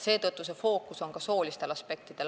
Seetõttu on fookus soolistel aspektidel.